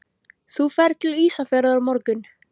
Þú ferð til Ísafjarðar á morgun.